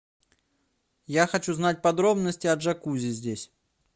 я хочу знать подробности о джакузи здесь